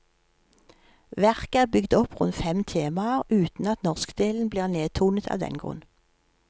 Verket er bygd opp rundt fem temaer uten at norskdelen blir nedtonet av den grunn.